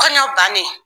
Kɔɲɔ bannen